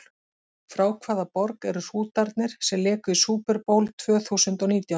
Frá hvaða borg eru Hrútarnir sem léku í Super Bowl tvö þúsund og nítján?